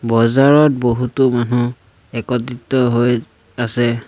বজাৰত বহুতো মানুহ একত্ৰিত হৈ আছে।